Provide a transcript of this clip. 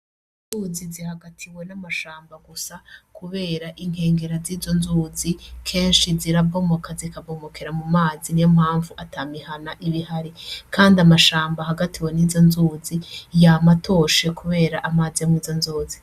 Inzuzi ziri hagati y’amashamba gusa, kubera izo nzuzi kenshi zirabomoka zikabomokera mu mazi, niyo mpamvu ata mihana iba ihari. Kandi amashamba hagatiwe n’izo nzuzi yama atoshe kubera amazi ari muri izo nzuzi.